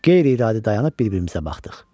Qeyri-iradi dayanıb bir-birimizə baxdıq.